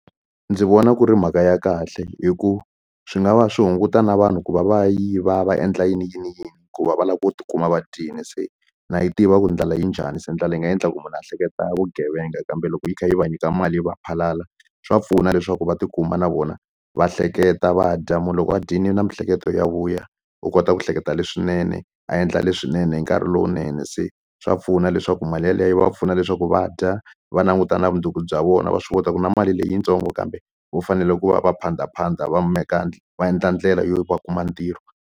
Ndzi vona ku ri mhaka ya kahle hi ku swi nga va swi hunguta na vanhu ku va va ya yiva va endla yini yini yini ku va va lava ku tikuma va dyile se na yi tiva ku ndlala yi njhani se ndlala yi nga endla ku munhu a hleketa vugevenga kambe loko yi kha yi va nyika mali yi va phalaphala swa pfuna leswaku va tikuma na vona va hleketa va dya munhu loko a dyile na miehleketo ya vuya u kota ku hleketa leswinene a endla leswinene hi nkarhi lowunene se swa pfuna leswi leswaku mali yeleyo yi va pfuna leswaku va dya va languta na vumundzuku bya vona va swi kota ku na mali leyitsongo kambe va fanele ku va va phanda phanda va va endla ndlela yo va kuma ntirho.